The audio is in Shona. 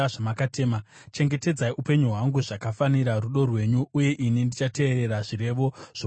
Chengetedzai upenyu hwangu zvakafanira rudo rwenyu, uye ini ndichateerera zvirevo zvomuromo wenyu.